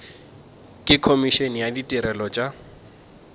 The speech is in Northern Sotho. le komišene ya ditirelo tša